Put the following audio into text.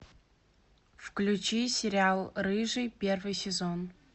включи сериал рыжий первый сезон